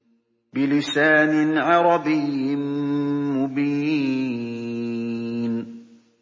بِلِسَانٍ عَرَبِيٍّ مُّبِينٍ